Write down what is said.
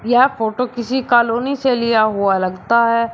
यह फोटो किसी कॉलोनी से लिया हुआ लगता है।